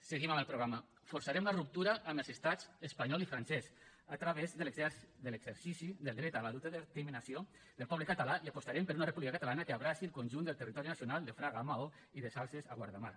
seguim amb el programa forçarem la ruptura amb els estats espanyol i francès a través de l’exercici del dret a l’autodeterminació del poble català i apostarem per una república catalana que abraci el conjunt del territori nacional de fraga a maó i de salses a guardamar